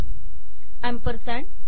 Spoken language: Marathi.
अॅम्परसँड